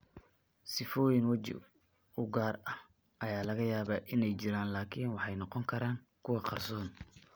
Sifooyin waji oo gaar ah ayaa laga yaabaa inay jiraan, laakiin waxay noqon karaan kuwo qarsoon.